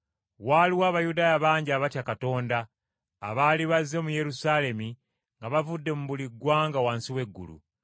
Waaliwo Abayudaaya bangi abatya Katonda abaali bazze mu Yerusaalemi nga bavudde mu buli ggwanga wansi w’eggulu.